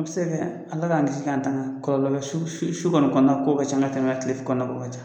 An mi se kɛ Ala ka kisi k'an tanga kɔlɔlɔ bi su su sukɔnɔ su kɔni kɔnɔna ko ka ca, ka tɛmɛ kile kɔnɔnakow ka ca.